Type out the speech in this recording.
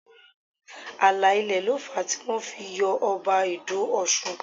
Ààlà ilẹ̀ ló fà á tí wọ́n fi yọ Ọba Ido Ọ̀ṣun